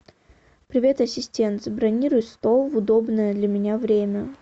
привет ассистент забронируй стол в удобное для меня время